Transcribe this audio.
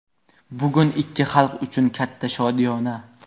Bugun ikki xalq uchun katta shodiyona.